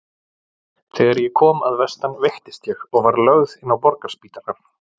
Þegar ég kom að vestan veiktist ég og var lögð inn á Borgarspítalann.